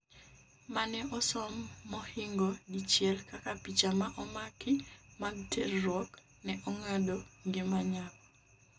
mane osom mohingo dichiel kaka picha ma omaki mag terruok ne ong'ado ngima nyako